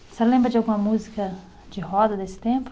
A senhora lembra de alguma música de roda desse tempo?